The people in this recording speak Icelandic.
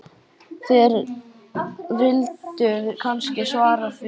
Þér vilduð kannski svara því.